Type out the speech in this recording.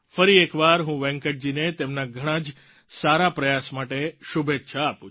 ફરી એકવાર હું વેંકટજીને તેમના ઘણાં જ સારા પ્રયાસ માટે શુભેચ્છા આપું છું